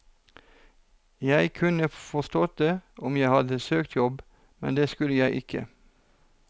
Jeg kunne forstått det om jeg hadde søkt jobb, men det skulle jeg ikke.